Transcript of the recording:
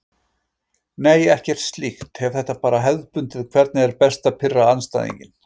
Nei ekkert slíkt, hef þetta bara hefðbundið Hvernig er best að pirra andstæðinginn?